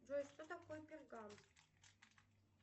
джой что такое пергамент